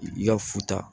I ka futa